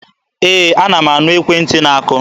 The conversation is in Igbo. Ee, ana m anụ ekwentị na-akụ.